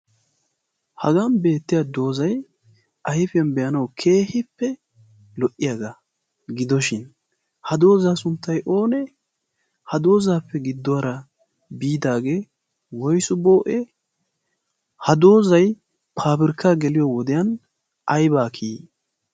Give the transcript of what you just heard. hagan beettiya doozai aifiyan be7anau keehippe lo77iyaagaa gidoshin ha doozaa sunttai oonee ha doozaappe gidduwaara biidaagee woisu boo7e ha doozai paafirkka geliyo wodiyan aibaa kiyi?